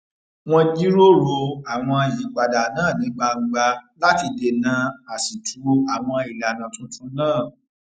wón jíròrò àwọn ìyípadà náà ní gbangba láti dènà àṣìtú àwọn ìlànà tuntun náà